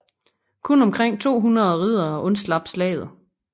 Kun omkring 200 riddere undslap slaget